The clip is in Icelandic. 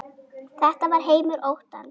Þetta var heimur óttans.